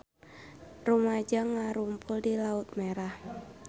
Rumaja ngarumpul di Laut Merah